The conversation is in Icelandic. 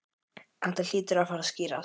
Þetta hlýtur að fara að skýrast